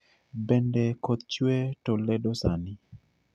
Bende koth chwe toledo sani